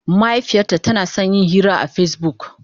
Mahaifiyata tana son yin hira akan Facebook.